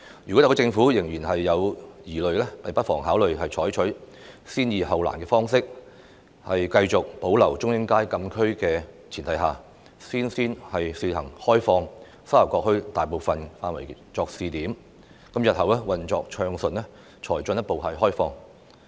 如果特區政府仍有疑慮，不妨考慮採取先易後難的方式，在繼續保留中英街禁區的前提下，先試行開放沙頭角墟大部分範圍作為試點，日後運作暢順後才進一步開放。